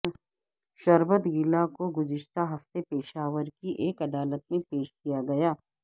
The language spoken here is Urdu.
شربت گلہ کو گزشتہ ہفتے پشاور کی ایک عدالت میں پیش کیا گیا